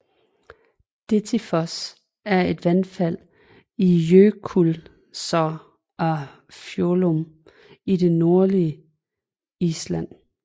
Dettifoss er et vandfald i Jökulsá á Fjöllum i det nordlige Island